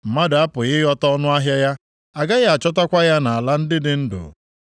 Mmadụ apụghị ịghọta ọnụahịa ya, agaghị achọtakwa ya nʼala ndị dị ndụ.